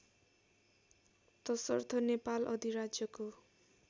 तसर्थ नेपाल अधिराज्यको